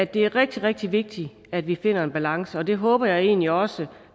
det er rigtig rigtig vigtigt at vi finder en balance og det håber jeg egentlig også